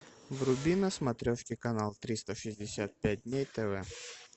вруби на смотрешке канал триста шестьдесят пять дней тв